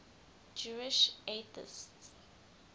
jewish atheists